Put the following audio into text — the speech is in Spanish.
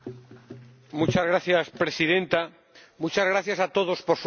Señora Presidenta, muchas gracias a todos por sus reflexiones.